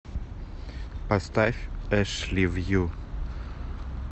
поставь эшливью